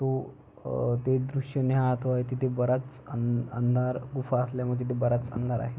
तो अ ते दृश्य निहाळतो आहे तिथे बराच अंधार गुफा असल्यामुळे तिथे बराच अंधार आहे.